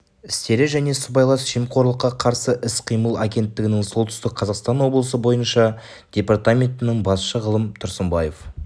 істері және сыбайлас жемқорлыққа қарсы іс-қимыл агенттігінің солтүстік қазақстан облысы бойынша департаментінің басшысы ғалым тұрсынбаев